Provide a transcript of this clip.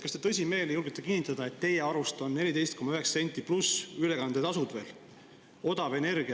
Kas te tõsimeeli julgete kinnitada, et teie arust on 14,9 senti pluss veel ülekandetasud odav energia?